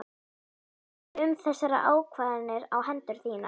Segja um þessar ákvarðanir á hendur þínar?